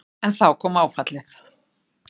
En þá kom áfallið.